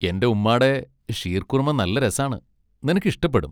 എൻ്റെ ഉമ്മാടെ ഷീർകുർമ നല്ല രസാണ്, നിനക്ക് ഇഷ്ടപ്പെടും.